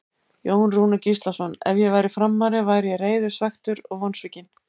Jón Rúnar Gíslason Ef ég væri Framari væri ég reiður, svekktur og vonsvikinn.